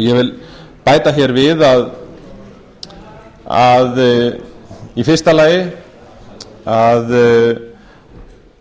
ég vil bæta hér við í fyrsta lagi að